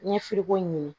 N ye firiko ɲini